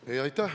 Aitäh!